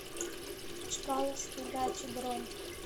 чкаловские дачи бронь